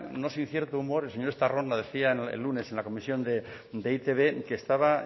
no sin cierto humor el señor estarrona decía el lunes en la comisión de e i te be que estaba